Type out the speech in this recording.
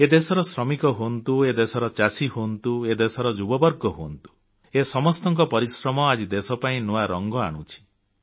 ଏ ଦେଶର ଶ୍ରମିକ ହୁଅନ୍ତୁ ଏ ଦେଶର ଚାଷୀ ହୁଅନ୍ତୁ ଏ ଦେଶର ଯୁବବର୍ଗ ହୁଅନ୍ତୁ ଏ ସମସ୍ତଙ୍କ ପରିଶ୍ରମ ଆଜି ଦେଶପାଇଁ ନୂଆ ରଙ୍ଗ ଆଣୁଛି